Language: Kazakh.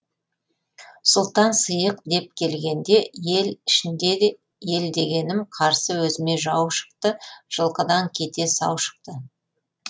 сұлтан сиық деп келгенде ел ішінде де ел дегенім қарсы өзіме жау шықты жылқыдан кете сау шықты